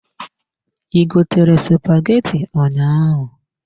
I gotere spaghetti ụnyaahụ?